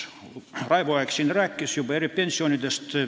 Raivo Aeg siin juba rääkis eripensionidest.